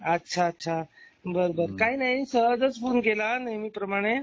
अच्छा अच्छा. बर बर काही नाही सहजचं फोन केला नेहमीप्रमाणे.